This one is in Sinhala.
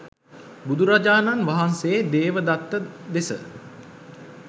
බුදුරජාණන් වහන්සේ දේවදත්ත දෙස